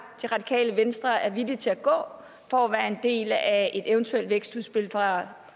radikale venstre er villig til at gå for at være en del af et eventuelt vækstudspil fra